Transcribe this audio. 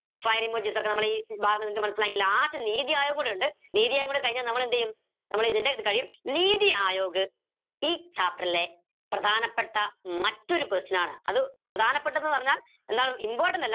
fire emojis ഒക്കെ നമ്മളെ ഈ ഭാഗം നിങ്ങക്ക് മനസിലായെങ്കി last ആയ പൊലിണ്ട് കൂടി കഴിഞ്ഞ നമ്മളെന്തെയും നമ്മള ഇതിന്റെ ഇത് കഴിയും നീതി ആയോഗ് ഈ chapter ലെ പ്രധാനപ്പെട്ട മറ്റൊരു question ആണ് അത് പ്രധാനപ്പെട്ടന്ന് പറഞ്ഞ എന്താണ് important